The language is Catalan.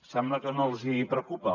sembla que no els hi preocupa